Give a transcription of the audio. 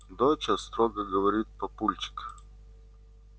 доча строго говорит папульчик